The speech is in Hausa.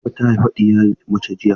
Latifa ta haifi ɗiya mace jiya.